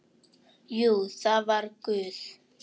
Jú, það var Guð.